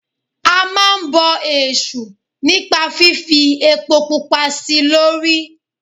A máa ń bọ èṣù nípa fífi epo pupa sí i lórí.